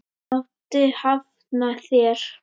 Láttu hafna þér.